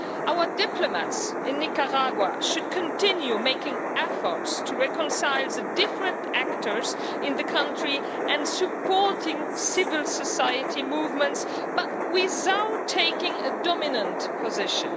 Our diplomats in Nicaragua should continue making efforts to reconcile the different actors in the country and supporting civil society movements, but without taking a dominant position.